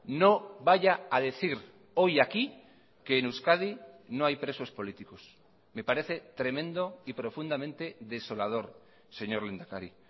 no vaya a decir hoy aquí que en euskadi no hay presos políticos me parece tremendo y profundamente desolador señor lehendakari